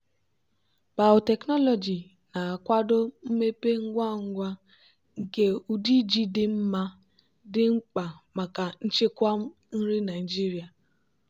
biotechnology na-akwado mmepe ngwa ngwa nke ụdị ji dị mma dị mkpa maka nchekwa nri nigeria.